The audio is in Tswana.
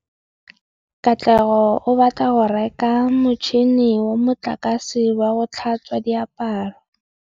Katlego o batla go reka motšhine wa motlakase wa go tlhatswa diaparo.